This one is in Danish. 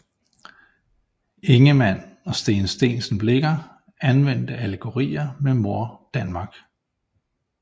Ingemann og Steen Steensen Blicher anvendte allegorier med Mor Danmark